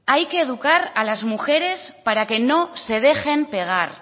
hay que educar a las mujeres para que no se dejen pegar